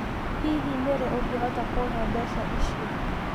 Hihi nĩ rĩ ũngĩhota kũũhe mbeca icio?